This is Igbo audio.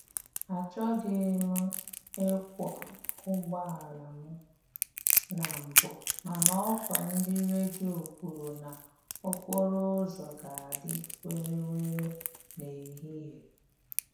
Achọghị m m ịkwọ ụgbọala m na mbụ, mana ọkwa ndị redio kwuru na okporo ụzọ ga-adị were were n'ehihie